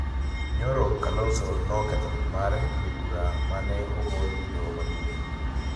Nyoro, Kalonzo noketho ling' mare ewi bura ma ne ogol gi Doho Maduong'